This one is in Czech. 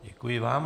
Děkuji vám.